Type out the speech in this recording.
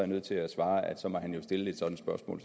nødt til at svare at så må han jo stille et spørgsmål